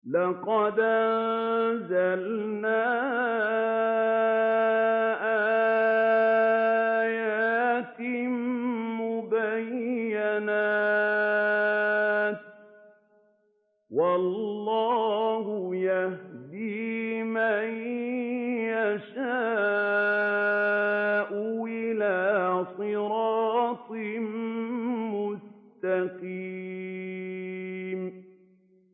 لَّقَدْ أَنزَلْنَا آيَاتٍ مُّبَيِّنَاتٍ ۚ وَاللَّهُ يَهْدِي مَن يَشَاءُ إِلَىٰ صِرَاطٍ مُّسْتَقِيمٍ